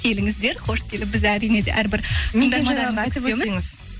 келіңіздер қош келіп біз әрине де әр бір